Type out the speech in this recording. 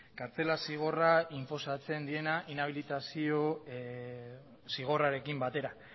kartzela zigorra inposatzen diena inabilitazio zigorrarekin batera